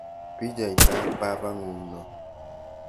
Pichaitab babang'ung' noo?